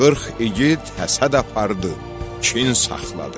Qırx igid həsəd apardı, kin saxladı.